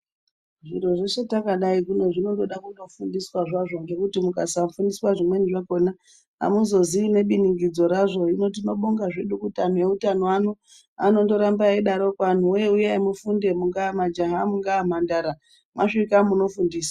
Zviro zvese takadai zvinoda kundofundiswa zvazvo ngekuti mukasafundiswa zvimweni zvacho amuzozii nebiningidzo razvo hino tinobonga zvedu anhu eutano ano anondoramba eidarokwo anhuwee uyai mufunde majaha mungaa mhandara mwasvika munofundiswa.